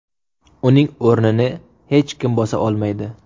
Uning o‘rnini hech kim bosa olmaydi.